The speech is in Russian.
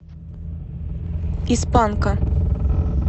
из панка